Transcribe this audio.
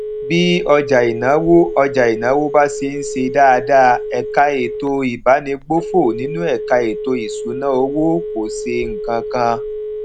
bí ọjà ìnáwó ọjà ìnáwó bá ṣe ń ṣe dáadáa ẹka ètò ìbánigbófò nínú ẹka ètò ìṣúnná owó kò ṣe nǹkan kan